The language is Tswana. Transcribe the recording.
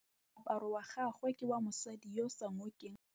Moaparô wa gagwe ke wa mosadi yo o sa ngôkeng kgatlhegô.